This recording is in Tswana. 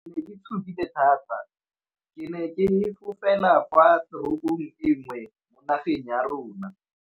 Ke ne ke tshogile thata ke ne ke fofela kwa toropong nngwe mo nageng ya rona.